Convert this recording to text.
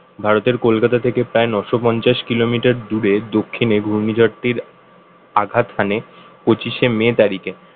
ভারতের কলকাতা থেকে প্রায় নয়শো পঞ্চাশ kilometer র দূরে দক্ষিণে ঘূর্ণিঝড়টির আঘাত আনে পঁচিশে মে তারিখে